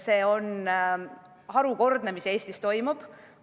See on harukordne, mis Eestis toimub!